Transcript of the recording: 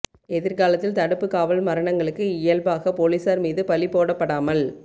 எதிர்காலத்தில் தடுப்புக் காவல் மரணங்களுக்கு இயல்பாக போலீசார் மீது பழி போடப்படாமல்